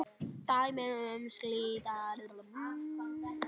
Dæmi um slíka villu væri